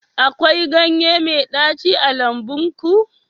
akwai ganye mai ɗaci a lambun ku